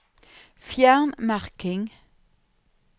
Fjern merking